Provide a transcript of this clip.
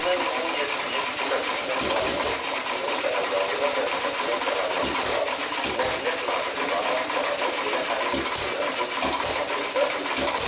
Dünən iyulun 7-sində prezident Vladimir Putinin sərəncamı ilə vəzifəsindən kənarlaşdırılan Nəqliyyat naziri Roman Starovoyt elə həmin gün dünən öz avtomobilində ölü tapılıb.